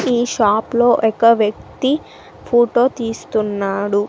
ఈ షాప్ లో ఒక వ్యక్తి ఫోటో తీస్తున్నాడు.